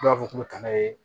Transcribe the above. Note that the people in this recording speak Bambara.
Dɔw b'a fɔ k'u bɛ taa n'a ye